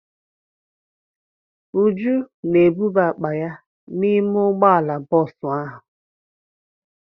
Uju na-ebuba akpa ya n'ime ụgbọala bọọsụ ahụ.